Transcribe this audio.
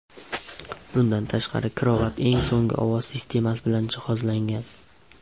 Bundan tashqari krovat eng so‘nggi ovoz sistemasi bilan jihozlangan.